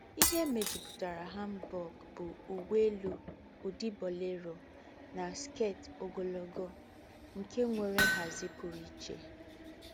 Íhé méjùpùtàrà hanbok bú úwé élú údí boléro nà skét ógọ́lọ́, nké nwéré ńhází pùrù íché.